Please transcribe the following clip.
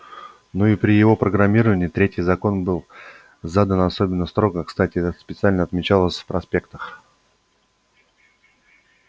ну и при его программировании третий закон был задан особенно строго кстати это специально отмечалось в проспектах